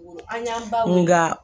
An y'a ba